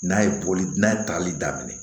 N'a ye bɔli n'a ye tali daminɛ